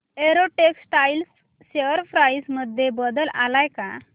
Arrow Textiles share price मध्ये बदल आलाय का